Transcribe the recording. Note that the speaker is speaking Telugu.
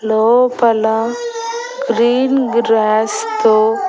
లోపల గ్రీన్ గ్రాస్ తో--